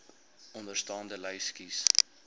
onderstaande lys kies